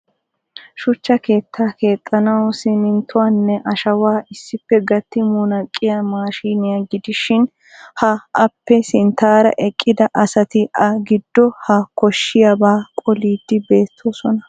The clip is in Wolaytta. Shuchcha keettaa keexxanaw simminttuwanne ashshawa issippe gatti munaqqiyaa maashiniyaa gidishin ha appe sinttaara eqqida asati a giddo ha koshshiyaaba qoliidi beettoosona.